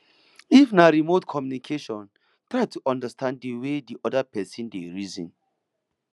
if na remote communication try to understand di wey di oda person dey reason